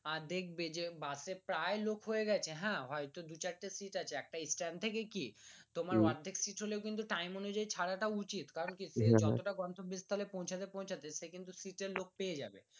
আদ্ধেক বেজে বাস এ প্রায় লোক হয়েগেছে হ্যা হয়তো দু চারটে সিট আছে একটা স্ট্যান্ড থেকে কি তোমার আধেক সিট হলেও কিন্তু কি তোমার time উনুযায়ী ছাড়া তা উচিত কারণ কি সে যতটা গন্তব্স্থলে পৌঁছাতে পৌঁছাতে সে কিন্তু সিট এ লোক পেয়ে যাবে